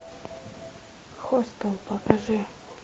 хостел покажи